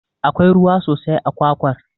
Akwai ruwa sosai a kwakwar.